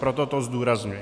Proto to zdůrazňuji.